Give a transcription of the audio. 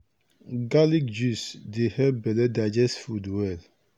garlic juice dey help belle digest food well.